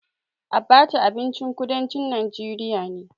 Abaca abincin kudancin najeriya ne.